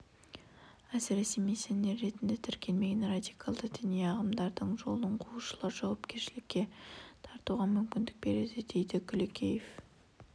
әсіресе миссионер ретінде тіркелмеген радикалды діни ағымдардың жолын қуушыларды жауапкершілікке тартуға мүмкіндік береді дейді күлекеев